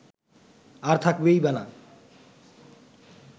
আর থাকবেই বা না